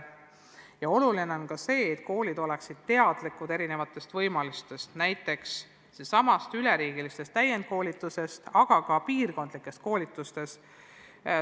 On ka oluline, et koolid oleksid teadlikud erinevatest võimalustest, näiteks sellestsamast üleriigilisest täiendkoolitusest, aga ka piirkondlikest koolitustest.